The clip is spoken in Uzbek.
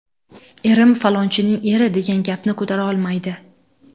Erim ‘Falonchining eri’ degan gapni ko‘tara olmaydi.